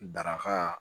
Daraka